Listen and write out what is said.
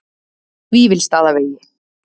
Vífilsstaðavegi